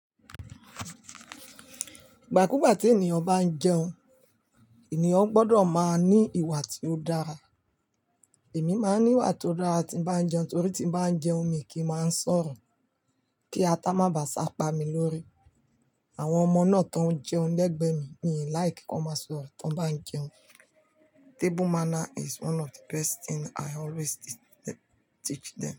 Ìgbà kú ìgbà tí ènìyàn bá ń jẹun, ènìyàn gbọdọ̀ máa ní ìwà tí ó dára. Èmi máa ń ní ìwà tó dára tí ń bá jẹun, torí tí bá ń jẹun mi kí máa ń sọ̀rọ̀ kí atá má bà á sapá mi lórí. Àwọn ọmọ náà tó ń jẹun lẹ́gbẹ̀ẹ́ mi, mi ò like kí wọ́n máa sọ̀rọ̀ tí wọ́n bá ń jẹun. Table manner is one of the best thing I always teach them.